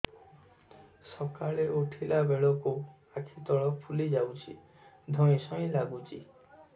ସକାଳେ ଉଠିଲା ବେଳକୁ ଆଖି ତଳ ଫୁଲି ଯାଉଛି ଧଇଁ ସଇଁ ଲାଗୁଚି